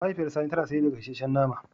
Mahaifiyar sani tana sayar da gasashen nama.